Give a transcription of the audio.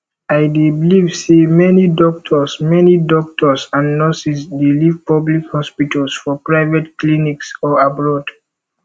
i dey believe say many doctors many doctors and nurses dey leave public hospitals for private clinics or abroad